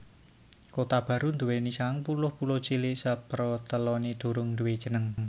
Kotabaru nduwèni sangang puluh pulo cilik seproteloné durung duwé jeneng